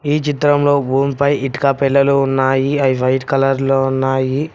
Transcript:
ఈ చిత్రం లో భూమి పై ఇటుక పెళ్ళాలు ఉన్నాయి అవి వైట్ కలర్ లో ఉన్నాయి.